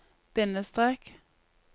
bindestrek